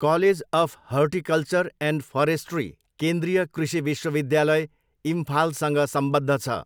College of Horticulture and Forestry केन्द्रीय कृषि विश्वविद्यालय, इम्फालसँग सम्बद्ध छ।